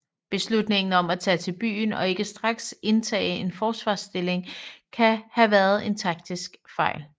Beslutningen om at tage til byen og ikke straks indtage en forsvarsstilling kan have været en taktisk fejl